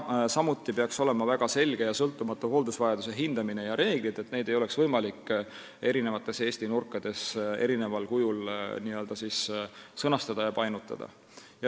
Samuti peaksid väga selged ja sõltumatud olema hooldusvajaduse hindamise reeglid, et neid ei oleks võimalik eri Eesti nurkades painutada ja eri kujul sõnastada.